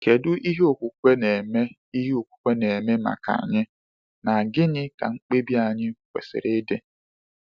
Kedu ihe okwukwe na-eme ihe okwukwe na-eme maka anyị, na gịnị ka mkpebi anyị kwesịrị ịdị?